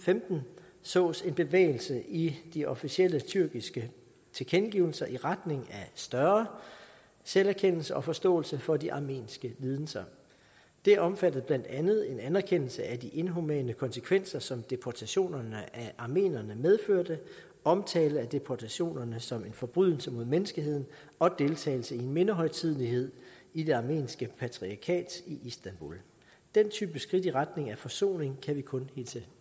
femten sås en bevægelse i de officielle tyrkiske tilkendegivelser i retning af større selverkendelse og forståelse for de armenske lidelser det omfattede blandt andet en anerkendelse af de inhumane konsekvenser som deportationerne af armenierne medførte omtale af deportationerne som en forbrydelse mod menneskeheden og deltagelse i en mindehøjtidelighed i det armenske patriarkat i istanbul den type skridt i retning af forsoning kan vi kun hilse